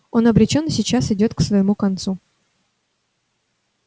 он обречён и сейчас идёт к своему концу